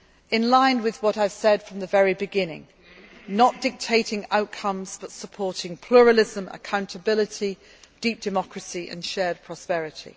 are respected. In line with what I have said from the very beginning, we will not be dictating outcomes but supporting pluralism, accountability, deep democracy and shared